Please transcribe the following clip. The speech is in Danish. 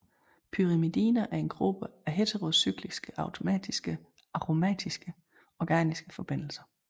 Pyrimidiner er en gruppe af heterocycliske aromatiske organiske forbindelser